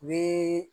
U bɛ